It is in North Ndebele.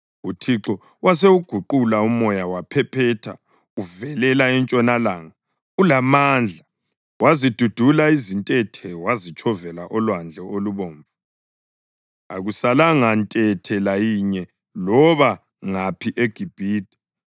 UThixo wasewuguqula umoya waphephetha uvelela entshonalanga ulamandla. Wazidudula izintethe wazitshovela oLwandle Olubomvu. Akusalanga ntethe layinye loba ngaphi eGibhithe.